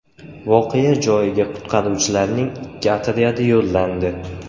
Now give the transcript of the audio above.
Voqea joyiga qutqaruvchilarning ikki otryadi yo‘llandi.